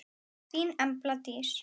Þín Embla Dís.